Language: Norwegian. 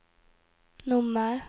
nummer